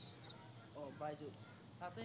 আহ বাইজুচ, তাতে